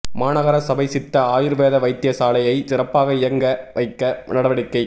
மாநகர சபை சித்த ஆயுர்வேத வைத்தியசாலையை சிறப்பாக இயங்க வைக்க நடவடிக்கை